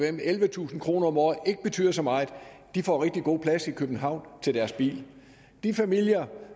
hvem ellevetusind kroner om året ikke betyder så meget får rigtig god plads i københavn til deres biler de familier